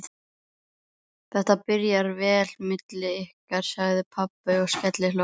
Þetta byrjar vel milli ykkar, sagði pabbi og skellihló.